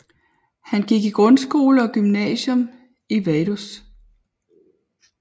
Han gik i grundskole og gymnasium i Vaduz